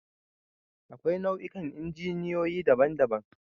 Akwai nau'ikan injiniyoyi daban-daban